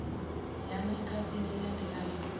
yana ekhasini elilandelayo